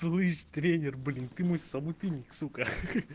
слышишь тренер блин ты мой собутыльник сука ха-ха